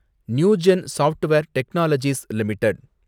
Newgen software technologies limited